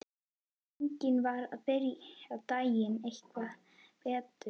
Eigum við að byrja daginn eitthvað betur?